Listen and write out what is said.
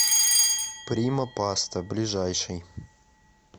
прима паста ближайший